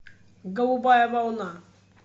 голубая волна